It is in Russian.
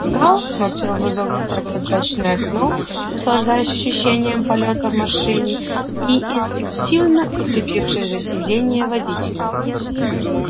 гаал смотрел в изогнутое прозрачное окно наслаждаясь ощущением полёта в машине и инстинктивно уцепившись за сидение водителя